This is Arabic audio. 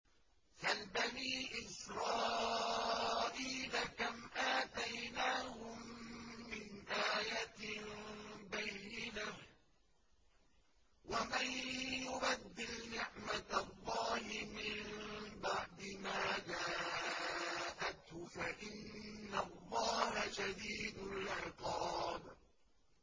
سَلْ بَنِي إِسْرَائِيلَ كَمْ آتَيْنَاهُم مِّنْ آيَةٍ بَيِّنَةٍ ۗ وَمَن يُبَدِّلْ نِعْمَةَ اللَّهِ مِن بَعْدِ مَا جَاءَتْهُ فَإِنَّ اللَّهَ شَدِيدُ الْعِقَابِ